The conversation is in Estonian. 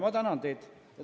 Ma tänan teid!